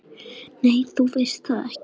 Nei, þú veist það ekki.